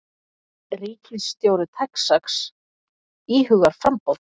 Ríkisstjóri Texas íhugar framboð